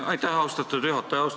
Aitäh, austatud juhataja!